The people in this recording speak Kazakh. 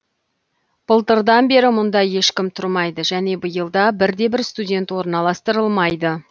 былтырдан бері мұнда ешкім тұрмайды және биыл да бір де бір студент орналастырылмайды